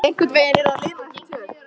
Einhvern veginn yrði að lina þessi tök